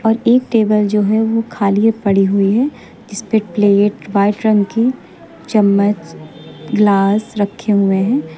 और एक टेबल जो है वो खालिए पड़ी हुई है जिसपे प्लेट व्हाइट रंग की चम्मच ग्लास रखे हुए हैं।